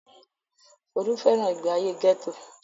Folú fẹ́ràn ìgbéayé gẹ́tò.